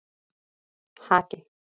Haki